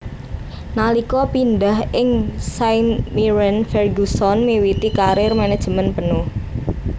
Nalika pindah ing St Mirren Ferguson miwiti karir manajemén penuh